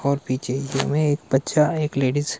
और पीछे मैं एक बच्चा एक लेडीज --